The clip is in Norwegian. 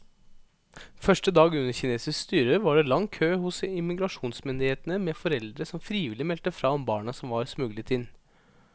Første dag under kinesisk styre var det lang kø hos immigrasjonsmyndighetene med foreldre som frivillig meldte fra om barna som var smuglet inn.